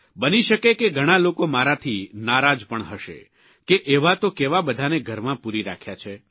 બની શકે કે ઘણા લોકો મારાથી નારાજ પણ હશે કે એવા તો કેવા બધાને ઘરમાં પૂરી રાખ્યા છે